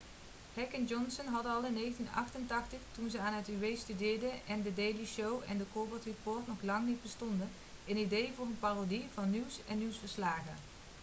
heck en johnson hadden al in 1988 toen ze aan uw studeerden en the daily show en the colbert report nog lang niet bestonden een idee voor een parodie van nieuws en nieuwsverslagen